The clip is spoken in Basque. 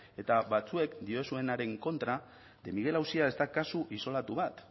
eta batzuek diozuenaren kontra de miguel auzia ez da kasu isolatu bat